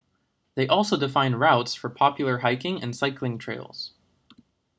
they also define routes for popular hiking and cycling trails